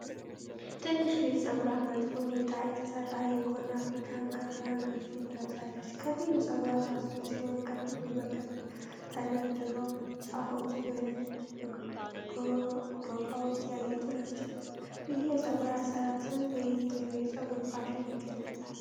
ትንሽ ልጅ ፀጉሯን በጥሩ ሁኔታ የተሠራ የጎን አፍሪካን ክር የአንገት ጌጥ ለብሳለች። ከፊሉ ፀጉሯ ታስሮ ሲሆን፣ ከፊሉ በክር ተደርድሮ፣ ጫፎቹ በነጭ ዶቃዎች ያጌጡ ናቸው። ይህ የፀጉር አሠራር ስም በየትኛው የፀጉር ፋሽን ይገለጻል?